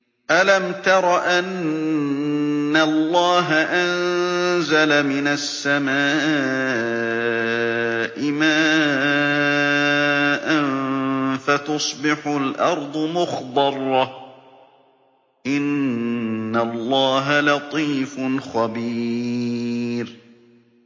أَلَمْ تَرَ أَنَّ اللَّهَ أَنزَلَ مِنَ السَّمَاءِ مَاءً فَتُصْبِحُ الْأَرْضُ مُخْضَرَّةً ۗ إِنَّ اللَّهَ لَطِيفٌ خَبِيرٌ